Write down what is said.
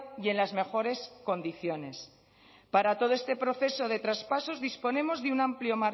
y en las mejores condiciones para todo este proceso de traspasos disponemos de un amplio